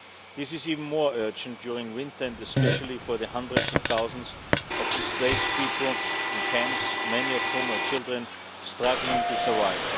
This is even more urgent during winter, and especially for the hundreds of thousands of displaced people in camps, many of whom are children struggling to survive.